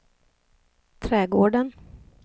trädgården